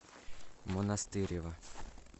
монастырева